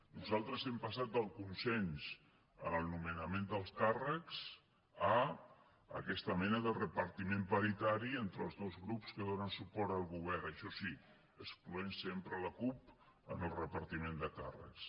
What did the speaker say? nosaltres hem passat del consens en el nomenament dels càrrecs a aquesta mena de repartiment paritari entre els dos grups que donen suport al govern això sí excloent sempre la cup en el repartiment de càrrecs